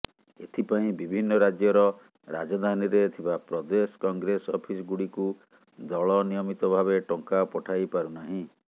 ଏଥିପାଇଁ ବିଭିନ୍ନ ରାଜ୍ୟର ରାଜଧାନୀରେ ଥିବା ପ୍ରଦେଶ କଂଗ୍ରେସ ଅଫିସ ଗୁଡିକୁ ଦଳ ନିୟମିତଭାବେ ଟଙ୍କା ପଠାଇପାରୁନାହିଁ